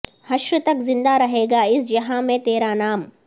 حشر تک زندہ رہے گا اس جہاں میں تیرا نام